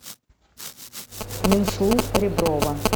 минслу реброва